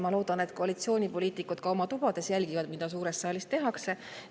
Ma loodan, et koalitsioonipoliitikud oma tubades jälgivad, mida suures saalis tehakse.